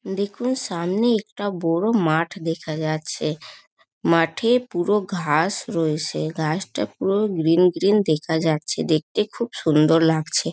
দেখুন সামনে একটা বড় মাঠ দেখা যাচ্ছে। মাঠে পুরো ঘাস রয়েসে। ঘাসটা পুরো গ্রিন গ্রিন দেখা যাচ্ছে। দেখতে খুব সুন্দর লাগছে।